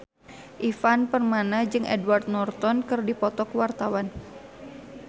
Ivan Permana jeung Edward Norton keur dipoto ku wartawan